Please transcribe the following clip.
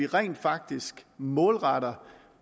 rent faktisk målretter